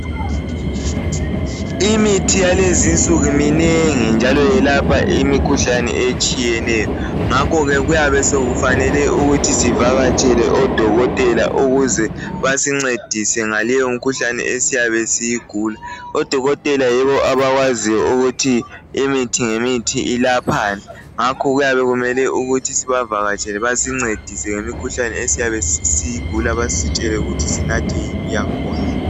Imithi yalezinsuku minengi njalo yelapha imikhuhlane etshiyeneyo ngakho ke kuyabe sokufanele ukuthi sivakatshele oDokotela ukuze basincedise ngaleyo mkhuhlane esiyabe siyigula. Odokotela yibo abakwaziyo ukuthi imithi ngemithi ulaphani ngakho kuyabe kumele sivakatshele basincedise ngemikhuhlane esiyabe siyigula basitshele ukuthi sinathe yiphi yangakhona.